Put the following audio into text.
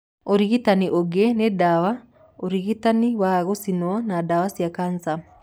Ũrigitani ũngĩ nĩ ndawa, ũrigitani wa gũcinwo na ndawa cia kanca.